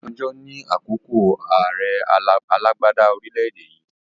Obasanjo ni àkọ́kọ́ àrẹ alàgbàda orílédé yii